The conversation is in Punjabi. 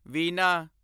ਵੀਨਾ